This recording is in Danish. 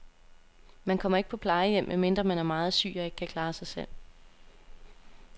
Man kommer ikke på plejehjem, medmindre man er meget syg og ikke kan klare sig selv.